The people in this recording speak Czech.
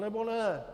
Anebo ne.